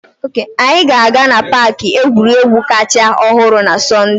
Anyị ga-aga na paaki egwuregwu kacha ọhụrụ na Sọnde.